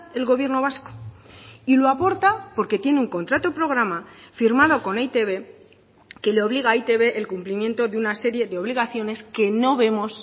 el gobierno vasco y lo aporta porque tiene un contrato programa firmado con e i te be que le obliga a e i te be el cumplimiento de una serie de obligaciones que no vemos